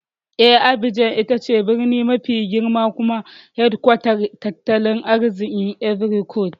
Eh, Abidjan ita ce birni mafi girma kuma hedkwatar tattalin arzikin Ivory Coast.